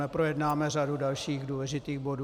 Neprojednáme řadu dalších důležitých bodů.